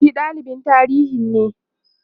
shi dalibin tarihinne